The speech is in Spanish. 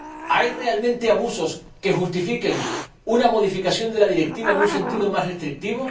¿Hay realmente abusos que justifiquen una modificación de la Directiva en un sentido más restrictivo?